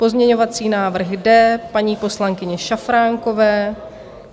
Pozměňovací návrh D paní poslankyně Šafránkové.